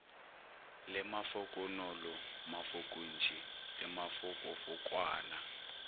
le mafokonolo mafokontši le mafokofokwana